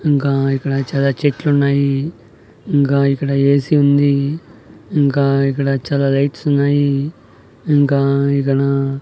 ఇంకా ఇక్కడ చాలా చెట్లున్నాయి ఇంకా ఇక్కడ ఏ సీ ఉంది ఇంకా ఇక్కడ చాలా లైట్స్ ఉన్నాయి ఇంకా ఇక్కడ--